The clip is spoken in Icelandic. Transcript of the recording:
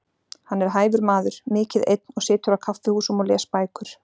Hann er hæfur maður, mikið einn og situr á kaffihúsum og les bækur.